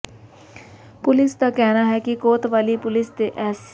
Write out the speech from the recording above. police ਦਾ ਕਹਿਣਾ ਹੈ ਕਿ ਕੋਤਵਾਲੀ ਪੁਲਿਸ ਦੇ ਐਸ